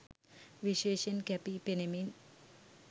විශේෂයෙන් කැපී පෙනෙමින්